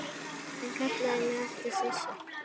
Hann kallaði mig alltaf Systu.